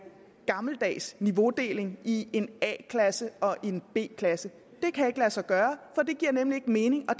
gammeldags niveaudeling i en a klasse og en b klasse det kan ikke lade sig gøre for det giver nemlig ikke mening og